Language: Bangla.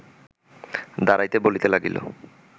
দাঁড়াইতে বলিতে লাগিল